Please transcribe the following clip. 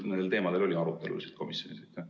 Kas nendel teemadel oli arutelusid komisjonis?